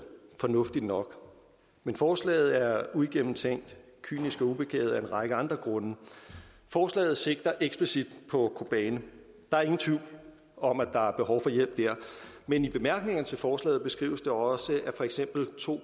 fornuftigt nok men forslaget er uigennemtænkt kynisk og ubegavet af en række andre grunde forslaget sigter eksplicit på kobane der er ingen tvivl om at der er behov for hjælp der men i bemærkningerne til forslaget beskrives det også at for eksempel to